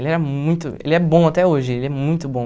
Ele era muito... Ele é bom até hoje, ele é muito bom.